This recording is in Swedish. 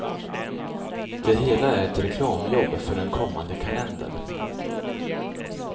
Det hela är ett reklamjobb för en kommande kalender.